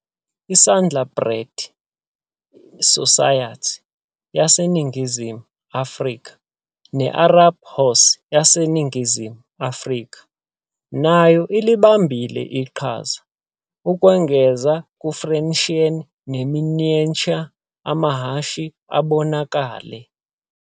I-Saddlebred Society yaseNingizimu Afrika ne-Arab Horse yeseNingizimu Afrika nayo ilibambile iqhaza, ukwengeza ku-Friesian ne-miniature amahhashi abonakele.